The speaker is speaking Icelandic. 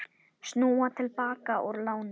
Snúa til baka úr láni